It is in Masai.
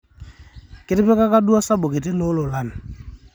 kitipikaka duo osabu kiti too lolan